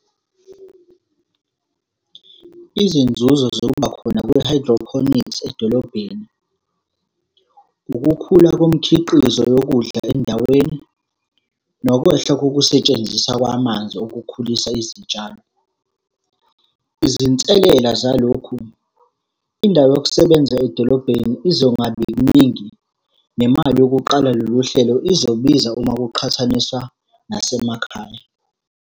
Izinzuzo zokuba khona kwe-hydroponics edolobheni. Ukukhula komkhiqizo yokudla endaweni, nokwehla kokusetshenziswa kwamanzi okukhulisa izitshalo. Izinselela zalokhu, indawo yokusebenza edolobheni izongabi ningi. Nemali yokuqala lolu hlelo izobiza uma kuqhathaniswa nasemakhaya.